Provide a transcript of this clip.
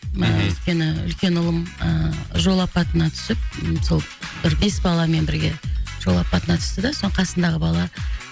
өйткені үлкен ұлым ыыы жол апатына түсіп сол бір бес баламен бірге жол апатына түсті де сол қасындағы бала